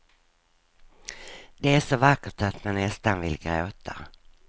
Det är så vackert att man nästan vill gråta.